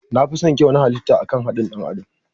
Na fison kyau halita da akan haɗin ɗan adam.